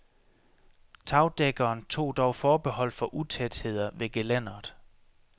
Tagdækkeren tog dog forbehold for utætheder ved gelænderet.